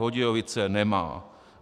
Hodějovice nemá.